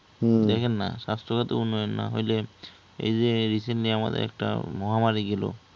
দেখেন নাহ স্বাস্থ্যখাতের উন্নয়ন না হলে এই যে recently আমাদের একটা মহামারী গেলো